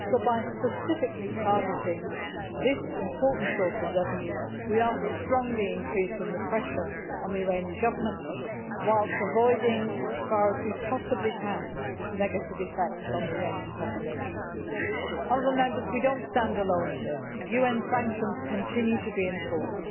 So by specifically targeting this important source of revenue we are strongly increasing the pressure on the Iranian Government, whilst avoiding as far as we possibly can negative effects on the Iranian population. We do not stand alone in this. UN sanctions continue to be in force.